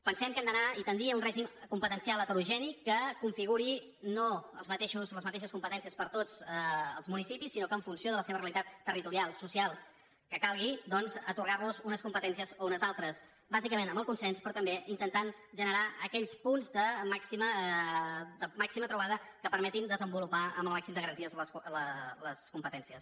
pensem que hem d’anar i tendir a un règim competencial heterogeni que configuri no les mateixes competències per a tots els municipis sinó que en funció de la seva realitat territorial social que calgui doncs atorgar los unes competències o unes altres bàsicament amb el consens però també intentant generar aquells punts de màxima trobada que permetin desenvolupar amb el màxim de garanties les competències